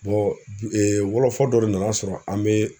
wɔlɔfɔ dɔ de nana sɔrɔ an bɛ